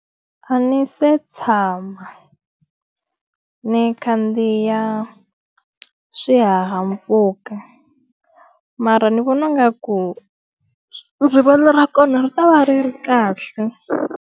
A ni se tshama ni khandziya swihahampfhuka, mara ni vona nga ku rivala ra kona ri ta va ri ri kahle.